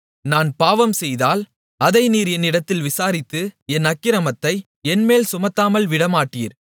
நான் பாவம்செய்தால் அதை நீர் என்னிடத்தில் விசாரித்து என் அக்கிரமத்தை என்மேல் சுமத்தாமல் விடமாட்டீர்